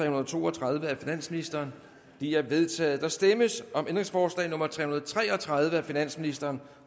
og to og tredive af finansministeren de er vedtaget der stemmes om ændringsforslag nummer tre hundrede og tre og tredive af finansministeren